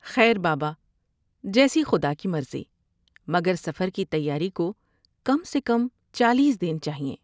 ” خیر بابا جیسی خدا کی مرضی مگر سفر کی تیاری کو کم سے کم چالیس دن چائیں ۔